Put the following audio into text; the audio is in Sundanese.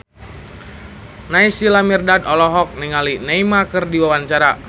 Naysila Mirdad olohok ningali Neymar keur diwawancara